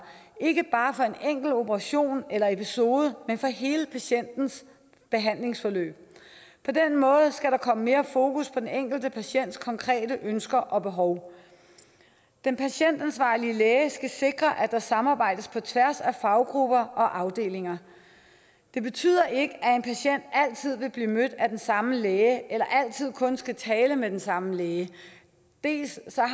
ikke bare for en enkelt operation eller episode men for hele patientens behandlingsforløb på den måde skal der komme mere fokus på den enkelte patients konkrete ønsker og behov den patientansvarlige læge skal sikre at der samarbejdes på tværs af faggrupper og afdelinger det betyder ikke at en patient altid vil blive mødt af den samme læge eller altid kun skal tale med den samme læge dels